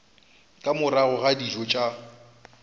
ka morago ga dijo tša